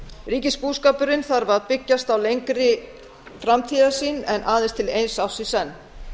ríkisbúskapurinn þarf að byggjast á lengri framtíðarsýn en aðeins til eins árs í senn